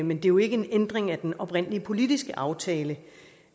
men det er jo ikke en ændring af den oprindelige politiske aftale